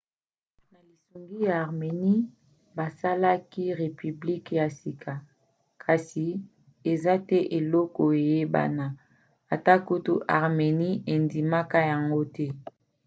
na lisungi ya armenie basalaki repiblike ya sika. kasi eza te ekolo eyebana - ata kutu armenie - endimaka yango te